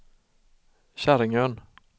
Käringön